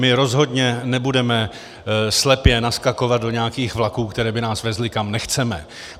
My rozhodně nebudeme slepě naskakovat do nějakých vlaků, které by nás vezly, kam nechceme.